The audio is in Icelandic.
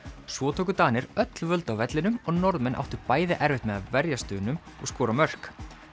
svo tóku Danir öll völd á vellinum og Norðmenn áttu bæði erfitt með að verjast Dönum og skora mörk